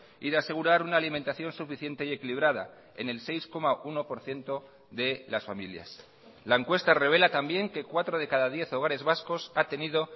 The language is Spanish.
y de asegurar una alimentación suficiente y equilibrada en el seis coma uno por ciento de las familias la encuesta rebela también que cuatro de cada diez hogares vascos ha tenido